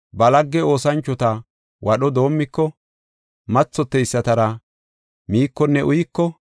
ba lagge oosanchota wadho doomiko, mathoteysatara miikonne uyiko,